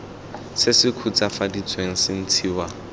se se khutswafaditsweng se ntshiwa